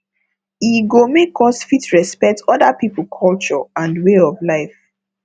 e go make us fit respect oda pipo culture and way of life